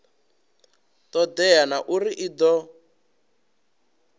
todea na uri i do